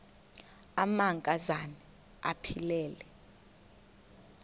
amanka zana aphilele